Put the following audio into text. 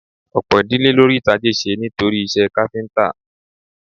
Ọ̀pọ̀ ìdílé ló rí tajé ṣe nítorí iṣẹ́ káfíńtà